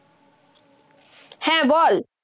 হ্যা, বল।